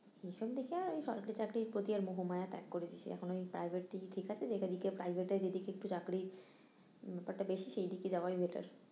এই সব দেখে আর সরকারি চাকরির প্রতি আর মোহমায়া ত্যাগ করে দিয়েছি, এখন ওই private দিকই ঠিক আছে যেটা থেকে private যেদিকে একটু চাকরির ব্যাপারটা বেশি সেদিকে যাওয়াই better